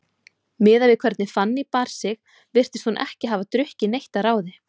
Miðað við hvernig Fanný bar sig virtist hún ekki hafa drukkið neitt að ráði.